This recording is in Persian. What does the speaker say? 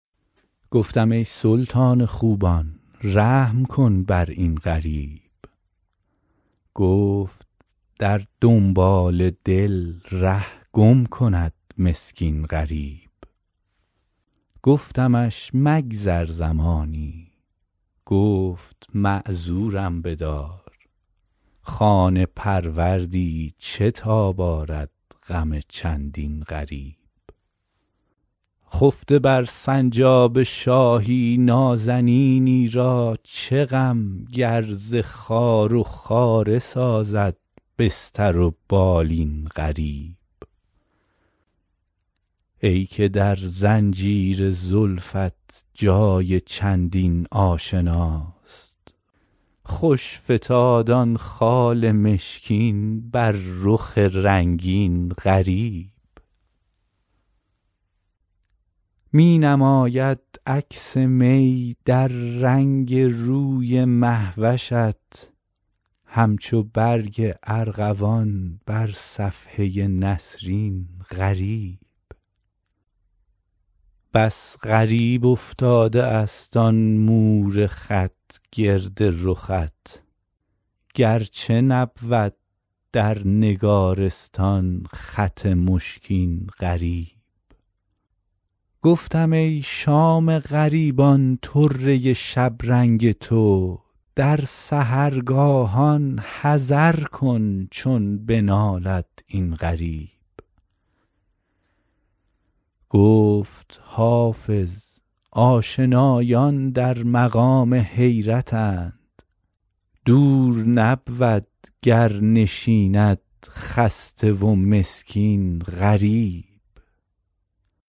گفتم ای سلطان خوبان رحم کن بر این غریب گفت در دنبال دل ره گم کند مسکین غریب گفتمش مگذر زمانی گفت معذورم بدار خانه پروردی چه تاب آرد غم چندین غریب خفته بر سنجاب شاهی نازنینی را چه غم گر ز خار و خاره سازد بستر و بالین غریب ای که در زنجیر زلفت جای چندین آشناست خوش فتاد آن خال مشکین بر رخ رنگین غریب می نماید عکس می در رنگ روی مه وشت همچو برگ ارغوان بر صفحه نسرین غریب بس غریب افتاده است آن مور خط گرد رخت گرچه نبود در نگارستان خط مشکین غریب گفتم ای شام غریبان طره شبرنگ تو در سحرگاهان حذر کن چون بنالد این غریب گفت حافظ آشنایان در مقام حیرتند دور نبود گر نشیند خسته و مسکین غریب